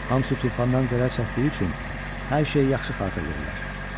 Hamısı tufandan zərər çəkdiyi üçün hər şey yaxşı xatırlayırlar.